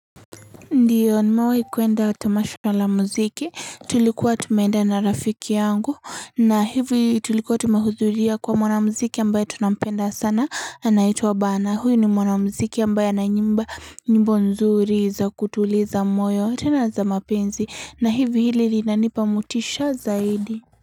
Ndio nimewahi kuenda tamasha la muziki tulikuwa tumeenda na rafiki yangu na hivi tulikuwa tumehudhuria kwa mwanamuziki ambaye tunampenda sana anaitwa bana huyu ni mwanamuziki ambaye ana nyimbo nyimbo nzuri za kutuliza moyo tena za mapenzi na hivi ili linanipa motisha zaidi.